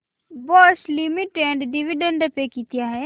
Bosch Limited dividend pay किती आहे